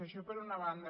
això per una banda